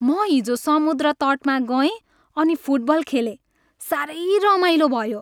म हिजो समुद्र तटमा गएँ अनि फुटबल खेलेँ। साह्रै रमाइलो भयो।